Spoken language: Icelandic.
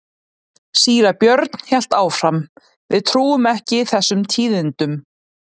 Síra Björn hélt áfram:-Við trúum ekki þessum tíðindum.